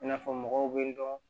I n'a fɔ mɔgɔw bɛ dɔn